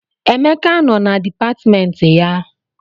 Emeka nọ na dipatịmentị ya.